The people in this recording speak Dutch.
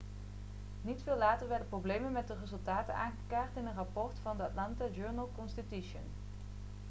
niet veel later werden problemen met de resultaten aangekaart in een rapport van the atlanta journal-constitution